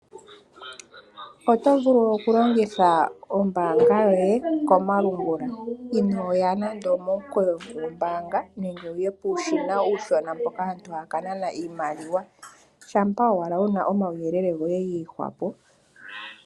Oto vulu oku longitha ombanga yoye komalungula, inoya nando momikweyo goombanga, nenge wuye puushina mboka uushona, mpoka aantu haya ka nana iimaliwa, shampa owala wuna omauyelele goye giihwapo.